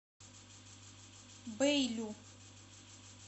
бэйлю